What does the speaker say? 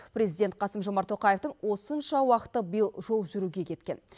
президент қасым жомарт тоқаевтың осынша уақыты биыл жол жүруге кеткен